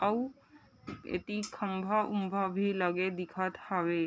आउ एती खम्भा- उम्बा भी लगे दिखत हवे ।